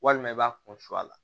Walima i b'a kun suru a la